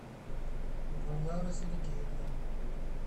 гульнара сергеевна